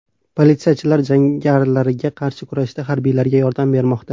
Politsiyachilar jangarilarga qarshi kurashda harbiylarga yordam bermoqda.